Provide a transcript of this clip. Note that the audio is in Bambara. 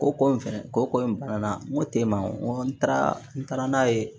Ko ko in fɛnɛ ko ko in bana ko te ma n ko n taara n taara n'a ye